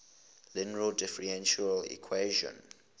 linear differential equation